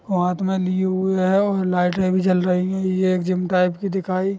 वो हाथ में लिए हुए है और लाइटे भी जल रही है ये एक जिम टाइप की दिखाई --